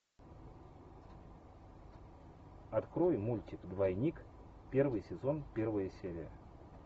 открой мультик двойник первый сезон первая серия